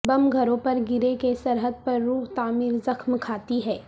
بم گھروں پر گریں کہ سرحد پر روح تعمیر زخم کھاتی ہے